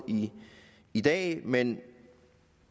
i dag men